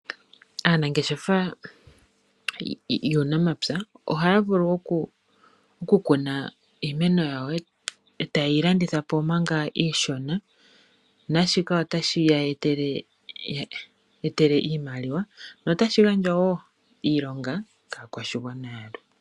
Anangeshefa yuunamapya oha vulu oku kuna iimeno yawo ota yeyi landithapo maka iishona nashika ota shi yayetele iimaliwa notashi gandja wo iilonga ka kwashingwana yalwe.